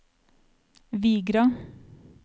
Vigra